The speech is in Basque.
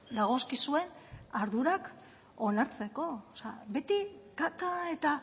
dagozkizuen ardurak onartzeko o sea beti kaka eta